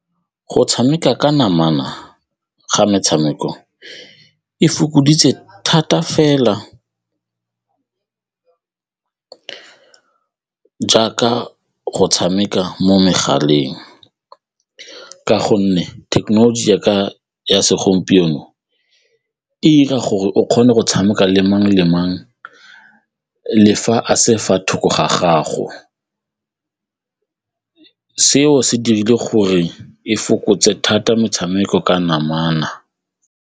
Go tshameka ka namana ga metshameko e fokoditse thata fela jaaka go tshameka mo megaleng ka gonne thekenoloji ya segompieno e 'ira gore o kgone go tshameka le mang le mang le fa a se thoko ga gago, seo se dirile gore e fokotse thata metshameko ka namana.